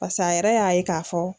Pasa a yɛrɛ y'a ye k'a fɔ